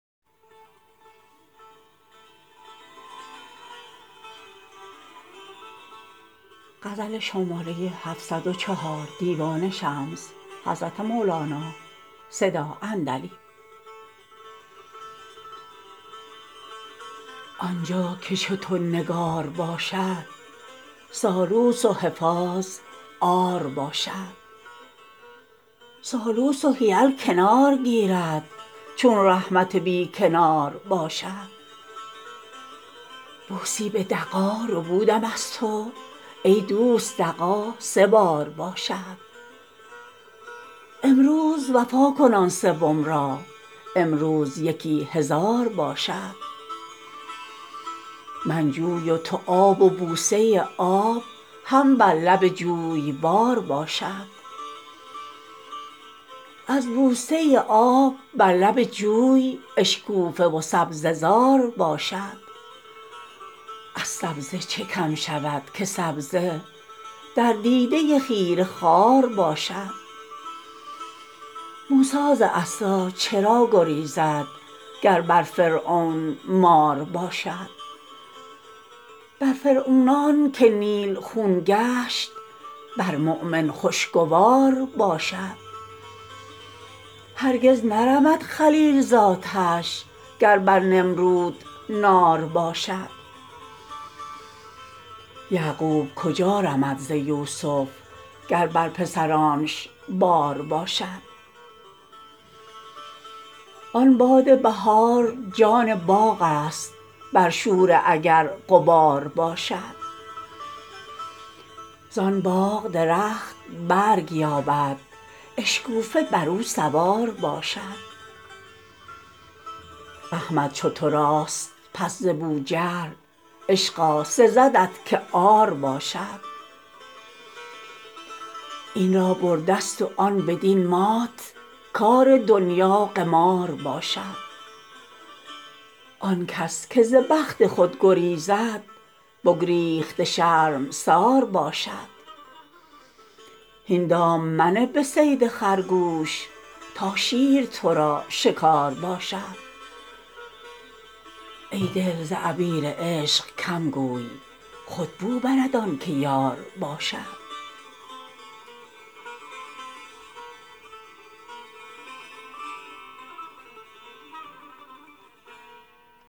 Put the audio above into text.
آن جا که چو تو نگار باشد سالوس و حفاظ عار باشد سالوس و حیل کنار گیرد چون رحمت بی کنار باشد بوسی به دغا ربودم از تو ای دوست دغا سه بار باشد امروز وفا کن آن سوم را امروز یکی هزار باشد من جوی و تو آب و بوسه آب هم بر لب جویبار باشد از بوسه آب بر لب جوی اشکوفه و سبزه زار باشد از سبزه چه کم شود که سبزه در دیده خیره خار باشد موسی ز عصا چرا گریزد گر بر فرعون مار باشد بر فرعونان که نیل خون گشت بر مؤمن خوشگوار باشد هرگز نرمد خلیل ز آتش گر بر نمرود نار باشد یعقوب کجا رمد ز یوسف گر بر پسرانش بار باشد آن باد بهار جان باغست بر شوره اگر غبار باشد زان باغ درخت برگ یابد اشکوفه بر او سوار باشد احمد چو تو راست پس ز بوجهل عشقا سزدت که عار باشد این را بر دست و آن بدین مات کار دنیا قمار باشد آن کس که ز بخت خود گریزد بگریخته شرمسار باشد هین دام منه به صید خرگوش تا شیر تو را شکار باشد ای دل ز عبیر عشق کم گوی خود بو برد آن که یار باشد